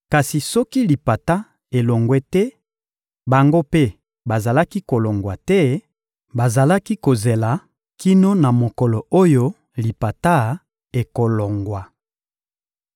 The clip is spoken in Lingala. Kasi soki lipata elongwe te, bango mpe bazalaki kolongwa te, bazalaki kozela kino na mokolo oyo lipata ekolongwa.